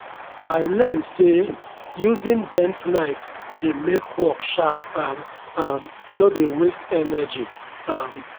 i learn say using bent knife dey make work sharp and um no dey waste energy. um